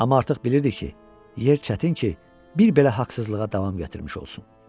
Amma artıq bilirdi ki, yer çətin ki, bir belə haqsızlığa davam gətirmiş olsun.